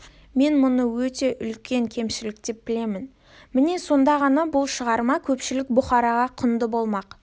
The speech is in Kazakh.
мен мұны өте үлкен кемшілік деп білемін міне сонда ғана бұл шығарма көпшілік бұқараға құнды болмақ